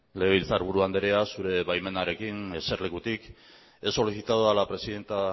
legebiltzarburu andrea zure baimenarekin eserlekutik he solicitado a la presidenta